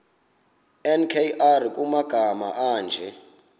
nkr kumagama anje